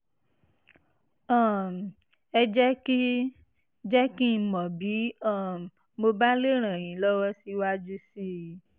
um ẹ jẹ́ kí jẹ́ kí n mọ̀ bí um mo bá lè ràn yín lọ́wọ́ síwájú sí i